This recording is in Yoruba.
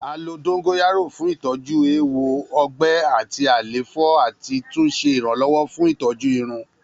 A lo dongoyaro fun itọju ewo, ọgbẹ ati àléfọ ati tun ṣe iranlọwọ fun itọju irun.